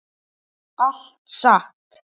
Allt satt.